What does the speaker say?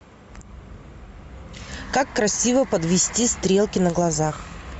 как красиво подвести стрелки на глазах